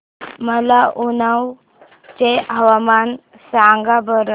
मला उन्नाव चे हवामान सांगा बरं